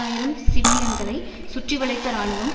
ஆயிரம் சிவிலியன்களை சுற்றிவளைத்த இராணுவம்